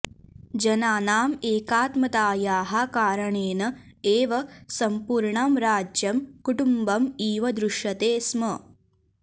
जनानाम् एकात्मतायाः कारणेन एव सम्पूर्णं राज्यं कुटुम्बम् इव दृश्यते स्म